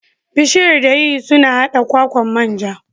Bishiyar dayadii suna haɗa kwakwan manja.